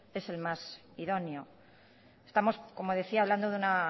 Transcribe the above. es el más idóneo estamos como decía hablando de una